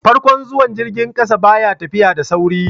farkon zuwan jirgin ƙasa ba ya tafiya da sauri